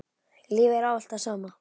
Lífið er ávallt það sama.